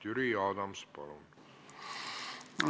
Jüri Adams, palun!